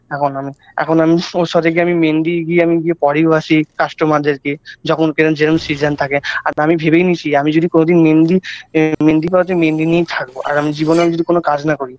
এখন আমি এখন আমি আমি মেহেন্দি গিয়ে আমি পরিও আসি customer -দেরকে যখন কেরম যেরম season থাকে আর আমি ভেবেই নিয়েছি আমি যদি কোনোদিন মেহেন্দি মেহেন্দি মেহেন্দি নিয়েই থাকবো আর আমি জীবনেও আমি যদি কোন কাজ না করি